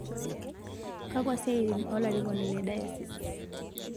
Kakua siatin o larikoni le diocese